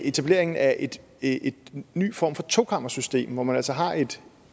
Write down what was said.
etableringen af en ny form for tokammersystem hvor man altså har et